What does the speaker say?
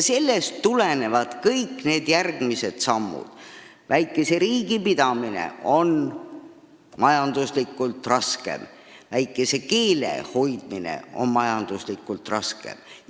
Sellest tulenevad kõik need järgmised asjad, et väikese riigi pidamine on majanduslikult raskem ja väikese keele hoidmine on majanduslikult raskem.